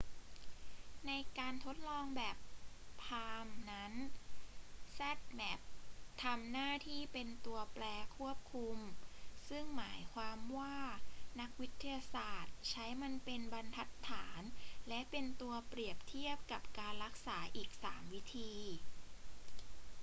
ในการทดลองแบบ palm นั้น zmapp ทำหน้าที่เป็นตัวแปรควบคุม ซึ่งหมายความว่านักวิทยาศาสตร์ใช้มันเป็นบรรทัดฐานและเป็นตัวเปรียบเทียบกับการรักษาอีก 3 วิธี